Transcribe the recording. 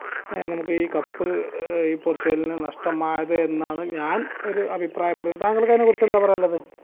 ഞങ്ങൾക്ക് ഈ cup ഈ പോർച്ചുഗലിന് നഷ്ടമായത് എന്നാണ് ഞാൻ ഒരു അഭിപ്രായപ്പെടുന്നത് താങ്കൾക്ക് അതിനെ കുറിച്ച് എന്താ പറയാനുള്ളത്